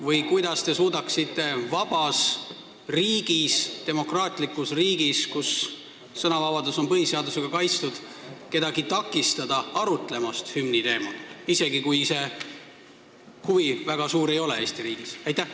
Või kuidas te suudaksite vabas ja demokraatlikus riigis, kus sõnavabadus on põhiseadusega kaitstud, takistada kedagi arutlemast hümni teemal, isegi kui Eesti riigis selle vastu väga suurt huvi ei ole?